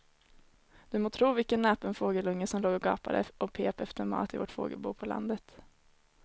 Du må tro vilken näpen fågelunge som låg och gapade och pep efter mat i vårt fågelbo på landet.